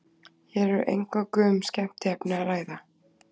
Hér er eingöngu um skemmtiefni að ræða.